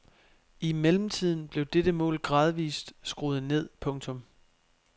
I mellemtiden blev dette mål gradvist skruet ned. punktum